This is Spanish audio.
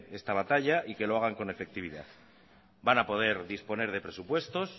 esta batalla y que lo hagan con efectividad van a poder disponer de presupuestos